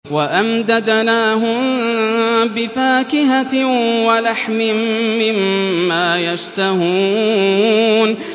وَأَمْدَدْنَاهُم بِفَاكِهَةٍ وَلَحْمٍ مِّمَّا يَشْتَهُونَ